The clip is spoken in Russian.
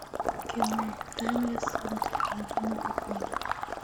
кино таймлесс рубиновая книга